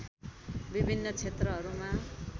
विभिन्न क्षेत्रहरूमा